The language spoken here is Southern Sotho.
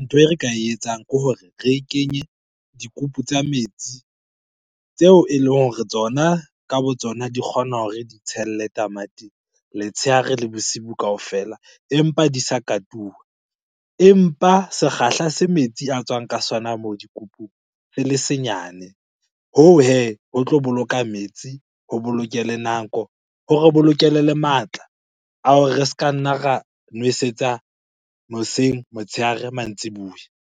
ntho e re ka e etsang ke hore re e kenye dikupu tsa metsi tseo eleng hore tsona ka bo tsona di kgona hore di tshelle tamati letshehare le bosibu kaofela empa di sa katuwa. Empa sekgahla se metsi a tswang ka sona moo dikupung se le senyane. Hoo hee, ho tlo boloka metsi, ho boloke le nako, hore bolokele le matla a hore re ska nna ra nwesetsa hoseng, motshehare, mantsibuya.